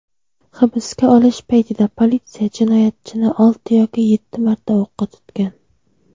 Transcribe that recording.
hibsga olish paytida politsiya jinoyatchini olti yoki yetti marta o‘qqa tutgan.